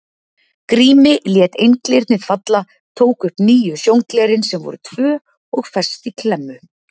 Grími, lét einglyrnið falla, tók upp nýju sjónglerin sem voru tvö og fest í klemmu.